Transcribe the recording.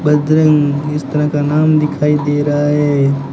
बजरंग इस तरह का नाम दिखाई दे रहा है।